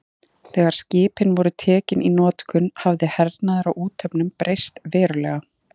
Þegar skipin voru tekin í notkun hafði hernaður á úthöfum breyst verulega.